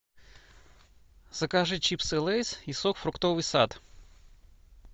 закажи чипсы лейс и сок фруктовый сад